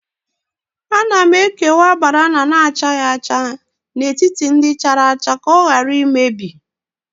Ana m ekewa banana na-achaghị acha n'etiti ndị chara acha ka ọ ghara imebi